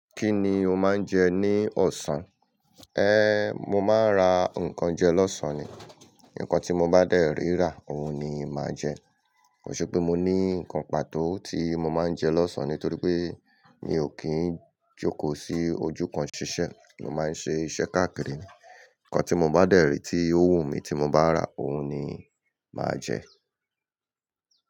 Kí ni o máa ń jẹ ní ọ̀sán? Mo máa ń ra nnkan jẹ lọ́sàn-án ni. Nnkan tí mo bá dẹ̀rí rà, òhun ni màá jẹ. Ko ṣe pé mo ní nnkan pàtó tí mo máa ń jẹ lọ́sàn-án nítorí pé mi ò kí ń jókòó sí ojú kan ṣiṣẹ́. Mo máa ń ṣe iṣẹ́ káàkiri. Nnkan tí mo bá dẹ̀rí tí ó wù mí tí mo bá rà, òhun ni màá jẹ.